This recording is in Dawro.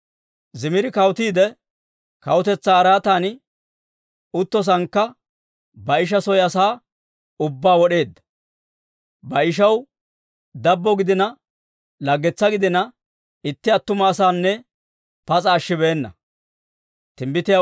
Zimiri kawutiide, kawutetsaa araatan uttosaanakka Baa'isha soo asaa ubbaa wod'eedda. Baa'ishaw dabbo gidiina laggetsaa gidiina itti attuma asanne pas'a ashshibeenna.